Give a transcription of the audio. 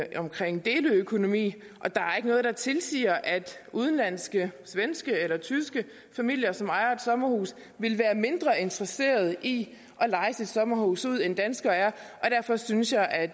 omkring deleøkonomi og der er ikke noget der tilsiger at udenlandske svenske eller tyske familier som ejer et sommerhus ville være mindre interesseret i at leje deres sommerhus ud end danskere er og derfor synes jeg at